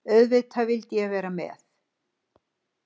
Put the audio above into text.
Auðvitað vildi ég vera með.